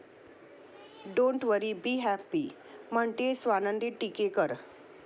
Don't worry be happy' म्हणतेय स्वानंदी टिकेकर!